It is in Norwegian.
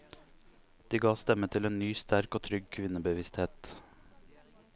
De ga stemme til en ny, sterk og trygg kvinnebevissthet.